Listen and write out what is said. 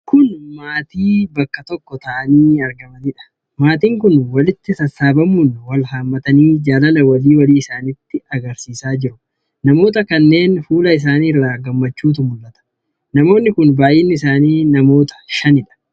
Kun maatii bakka tokko taa'anii argamaniidha. Maatiin kun walitti sassaabamuun wal hammatanii jalaala wali walii isaanitti agarsiisaa jiru. Namoota kanneen fuula isaanii irraa gammachuutu mul'ata. Namooti kun baay'inni isaanii namoota shanidha.